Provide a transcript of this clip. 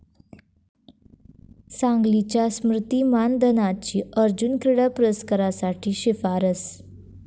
सांगलीच्या स्मृती मानधनाची अर्जुन क्रीडा पुरस्कारासाठी शिफारस